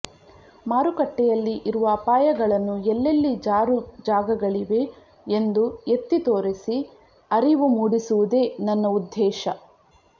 ಮಾರುಕಟ್ಟೆಯಲ್ಲಿ ಇರುವ ಅಪಾಯಗಳನ್ನು ಎಲ್ಲೆಲ್ಲಿ ಜಾರುಜಾಗಗಳಿವೆ ಎಂದು ಎತ್ತಿ ತೋರಿಸಿ ಅರಿವು ಮೂಡಿಸುವುದೇ ನನ್ನ ಉದ್ಧೇಶ